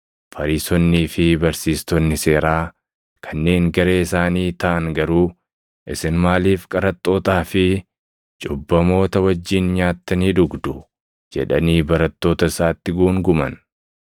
Fariisonnii fi Barsiistonni seeraa kanneen garee isaanii taʼan garuu, “Isin maaliif qaraxxootaa fi cubbamoota wajjin nyaattanii dhugdu?” jedhanii barattoota isaatti guunguman.